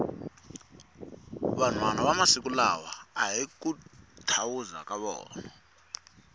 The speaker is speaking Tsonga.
vanhwana va masiku lawa ahi ku thawuza ka vona